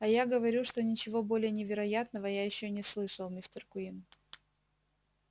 а я говорю что ничего более невероятного я ещё не слышал мистер куинн